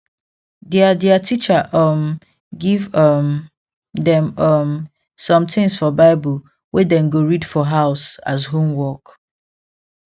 their their teacher um give um dem um some things for bible wey dem go read for house as homework